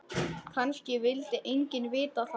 Kannski vildi enginn vita það.